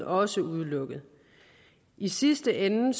også udelukket i sidste ende